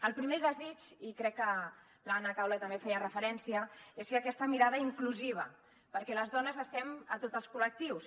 el primer desig i crec que l’anna caula també hi feia referència és fer aquesta mirada inclusiva perquè les dones estem a tots els col·lectius